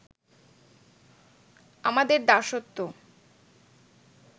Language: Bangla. আমাদের দাসত্ব